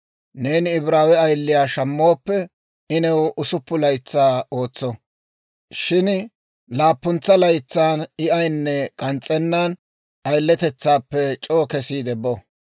Neeni Ibraawe ayiliyaa shammooppe, I new usuppun laytsaa ootso; shin laappuntsa laytsaan I ayinne k'ans's'ennan, ayiletetsaappe c'oo kesiide bo.